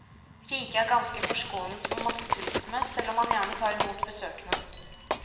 Riket er ganske forskånet for masseturisme, selv om man gjerne tar imot besøkende.